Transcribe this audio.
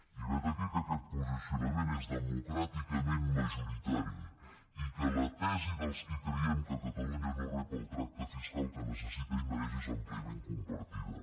i vet aquí que aquest posicionament és democràticament majoritari i que la tesi dels qui creiem que catalunya no rep el tracte fiscal que necessita i mereix és àmpliament compartida